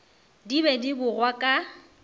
di be di bogwa ka